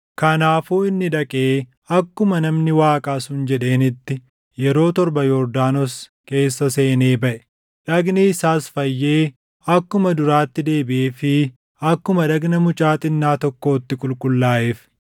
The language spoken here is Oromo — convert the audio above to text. Kanaafuu inni dhaqee akkuma namni Waaqaa sun jedheenitti yeroo torba Yordaanos keessa seenee baʼe; dhagni isaas fayyee akkuma duraatti deebiʼeefii akkuma dhagna mucaa xinnaa tokkootti qulqullaaʼeef.